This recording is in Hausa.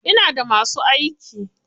Ina da masu aiki.